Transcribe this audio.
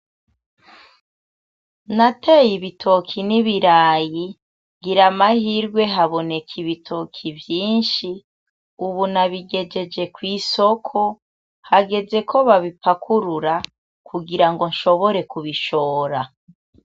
Nateye ibitoki n'ibirayi ngira amahirwe haboneka ibitoki vyinshi, ubu nabigejeje kw'isoko, hagezeko babipakurura kugirango nshobore kubishora.